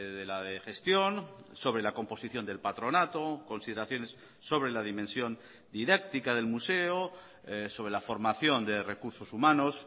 de la de gestión sobre la composición del patronato consideraciones sobre la dimensión didáctica del museo sobre la formación de recursos humanos